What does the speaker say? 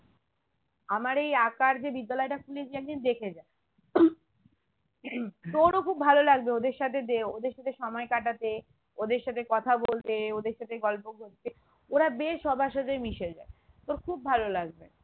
আমার এই আঁকার যে বিদ্যালয়টা খুলেছি একদিন দেখে যা তোরও খুব ভালো লাগবে ওদের সাথে দে ওদের সাথে সময় কাটাতে ওদের সাথে কথা বলতে ওদের সাথে গল্প করতে ওরা বেশ সবার সাথে মিশে যায় তোর খুব ভালো লাগবে